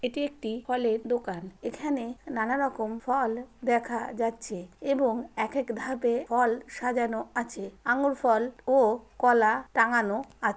এটি একটি ফলের দোকান। এখানে নানারকম ফল দেখা যাচ্ছে এবং একেক ধাপে ফল সাজানো আছে। আঙ্গুর ফল ও কলা টাঙানো আছে।